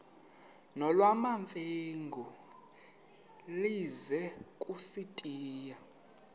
nolwamamfengu ize kusitiya